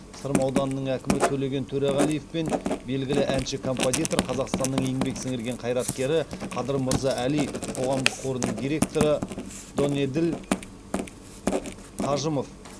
сырым ауданының әкімі төлеген төреғалиев пен белгілі әнші композитор қазақстанның еңбек сіңірген қайраткері қадыр мырза әли қоғамдық қорының директоры донеділ қажымов